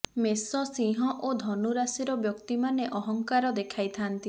ମେଷ ସିଂହ ଓ ଧନୁ ରାଶିର ବ୍ୟକ୍ତିମାନେ ଅହଂକାର ଦେଖାଇ ଥାଆନ୍ତି